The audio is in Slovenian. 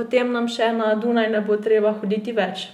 potem nam še na Dunaj ne bo treba hoditi več!